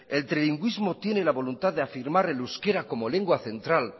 el trilingüísmo tiene la voluntad de afirmar el euskera como lengua central